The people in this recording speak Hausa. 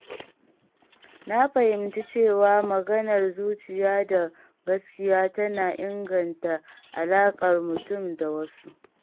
Na fahimci cewa maganar zuciya da gaskiya tana inganta alaƙar mutum da wasu.